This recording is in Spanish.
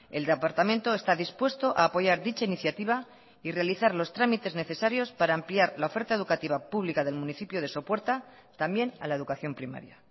el departamento está dispuesto a apoyar dicha iniciativa y realizar los trámites necesarios para ampliar la oferta educativa pública del municipio de sopuerta también a la educación primaria